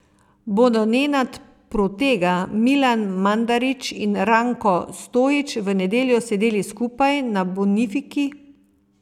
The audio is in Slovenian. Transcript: Bodo Nenad Protega, Milan Mandarić in Ranko Stojić v nedeljo sedeli skupaj na Bonifiki?